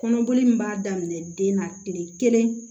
Kɔnɔboli min b'a daminɛ den na tile kelen